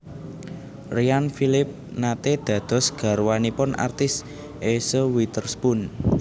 Ryan Phillippe nate dados garwanipun artis Eese Witherspoon